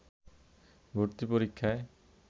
ভর্তি পরীক্ষায়